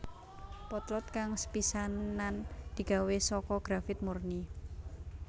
Potlot kang sepisanan digawé saka grafit murni